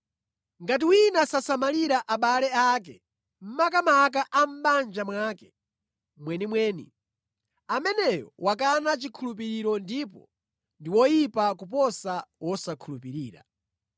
Ngati wina sasamalira abale ake, makamaka a mʼbanja mwake mwenimweni, ameneyo wakana chikhulupiriro ndipo ndi woyipa kuposa wosakhulupirira.